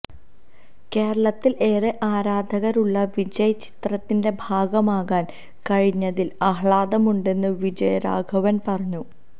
കേരളത്തില് ഏറെ ആരാധകരുള്ള വിജയ് ചിത്രത്തിന്റെ ഭാഗമാകാന് കഴിഞ്ഞതില് ആഹ്ലാദമുണ്ടെന്ന് വിജയരാഘവന് പറഞ്ഞു